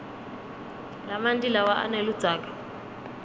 lamanti lawa aneludzaka